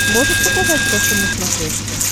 можешь показать фэшен на смотрешке